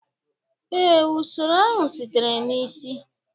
ee, usoro ahụ sitere na isi.